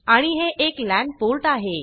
आणि हे एक लॅन पोर्ट आहे